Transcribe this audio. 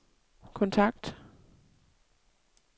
kontakt